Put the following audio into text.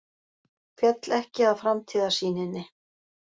Féll ekki að framtíðarsýninni